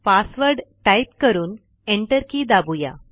password type करून enter key दाबूया